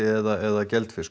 eða